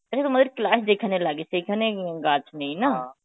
মানে তোমাদের class যেখানে লাগে সেখানেই গাছ নেই না?